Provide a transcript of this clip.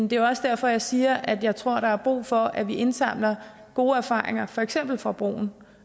jo også derfor jeg siger at jeg tror der er brug for at vi indsamler gode erfaringer for eksempel fra broen